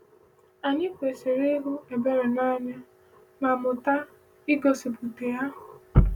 Anyị kwesịrị ịhụ ebere n’anya ma mụta igosipụta ya.